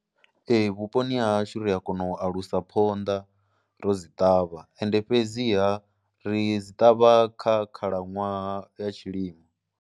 ee vhuponi ha hashu ri a kona u alusa phonḓa ro dzi ṱavha ende fhedziha ri dzi ṱavha kha khalaṅwaha ya tshilimo.